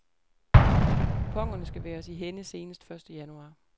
Kuponerne skal være os i hænde senest første januar.